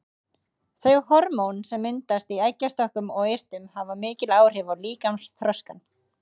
Þau hormón sem myndast í eggjastokkunum og eistunum hafa mikil áhrif á líkamsþroskann.